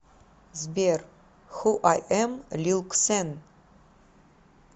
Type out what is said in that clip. сбер ху ай эм лил ксэн